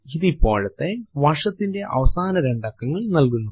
ഇത് ഇപ്പോഴത്തെ വർഷത്തിന്റെ അവസാന രണ്ട് അക്കങ്ങൾ നൽകുന്നു